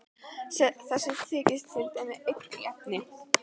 Þessi þykir til dæmis einn efni.